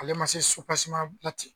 Ale man se supasima ba ten